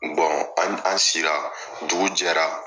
Bɔn an sira dugu jɛra